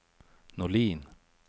Norlin